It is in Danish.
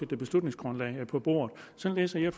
beslutningsgrundlag på bordet sådan læser jeg